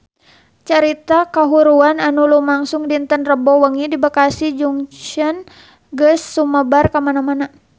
Carita kahuruan anu lumangsung dinten Rebo wengi di Bekasi Junction geus sumebar kamana-mana